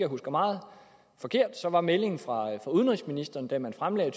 husker meget forkert var meldingen fra udenrigsministeren da man fremlagde